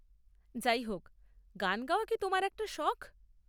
যাই হোক, গান গাওয়া কি তোমার একটা শখ?